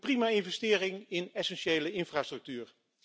Een prima investering in essentiële infrastructuur.